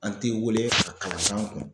An te weele kala k'an kun